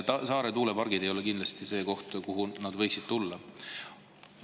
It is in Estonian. Saare tuulepargid ei ole kindlasti see koht, kuhu nad võiksid tulla.